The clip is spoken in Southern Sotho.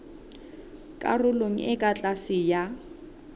karolong e ka tlase ya